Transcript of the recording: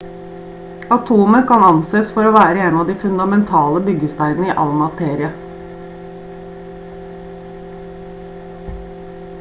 atomet kan anses for å være en av de fundamentale byggesteinene i all materie